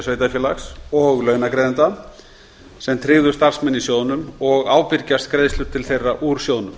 sveitarfélags og launagreiðenda sem tryggðu starfsmenn í sjóðnum og ábyrgjast greiðslur til þeirra úr sjóðnum